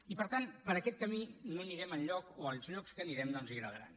i per tant per aquest camí no anirem enlloc o als llocs que anirem no els agradaran